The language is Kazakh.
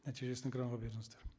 нәтижесін экранға беріңіздер